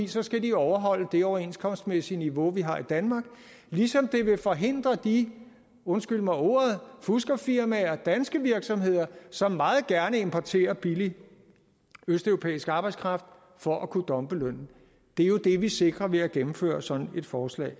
så skal de overholde det overenskomstmæssige niveau vi har i danmark ligesom det vil forhindre de undskyld mig ordet fuskerfirmaer danske virksomheder som meget gerne importerer billig østeuropæisk arbejdskraft for at kunne dumpe lønnen det er jo det vi sikrer ved at gennemføre sådan et forslag